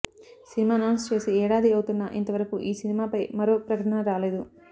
cinema announce చేసి ఏడాది అవుతున్నా ఇంతవరకు ఈ సినిమాపై మరో ప్రకటన రాలేదు